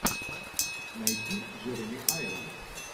найди джереми айронс